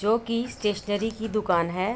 जो कि स्टेशनरी की दुकान है।